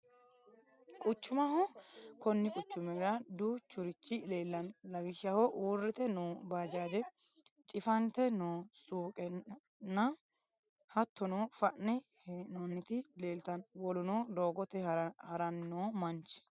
Quchumaho, kuni quchumirra duuchurichi leelano lawishaho uurite noo baajaje cifante noo suuqanna hatone fa'ne heenoniti leelitano woluno doogote haranni noo mamch